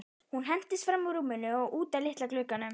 Hún hentist fram úr rúminu og út að litla glugganum.